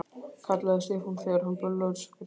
kallaði Stefán þegar honum blöskraði.